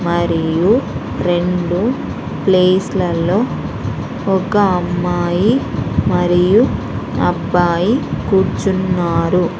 మరియు రెండు ప్లేస్ లలో ఒక అమ్మాయి మరియు అబ్బాయి కూర్చున్నారు.